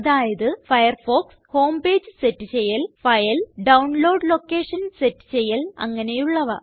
അതായത് Firefox home page set ചെയ്യൽ file download location set ചെയ്യൽ അങ്ങനെയുള്ളവ